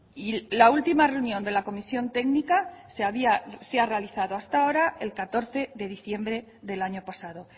y la última reunión de la comisión técnica se ha realizado hasta ahora el catorce de diciembre del año pasado